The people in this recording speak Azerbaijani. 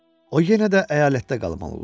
O yenə də əyalətdə qalmalı olur.